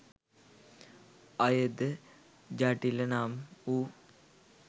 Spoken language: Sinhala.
අය ද ජටිල නම් වූ